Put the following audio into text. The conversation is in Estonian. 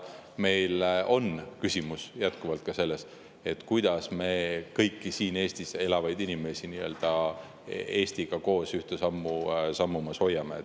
Meil on küsimus jätkuvalt ka selles, kuidas me kõiki siin Eestis elavaid inimesi nii-öelda Eestiga koos ühte sammu sammumas hoiame.